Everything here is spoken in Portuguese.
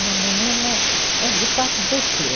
Uma menina é, de fato, doçura.